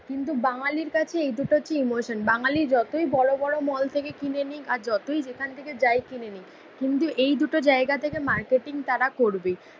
কিন্তু বাঙালির কাছে এই দুটো হচ্ছে ইমোশন। বাঙালী যতই বড়ো বড়ো মল থেকে কিনে নিক আর যতই যেখান থেকে যাই কিনে নিক, কিন্তু এই দুটো জায়গাথেকে মার্কেটিং তারা করবেই।